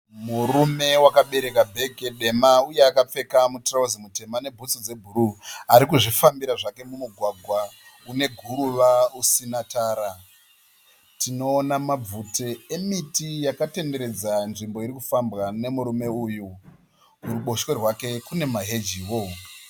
Murume wakabereka bhege dema uye akapfeka mutirawuzi mutema nebhutsu dzebhuruu. Arikuzvifambira zvake mumugwagwa une guruva usina tara. Tinoona mabvute emiti yakatenderedza nzvimbo iri kufambwa nemurume uyu. Kuruboshwe rwake kune mahejivo.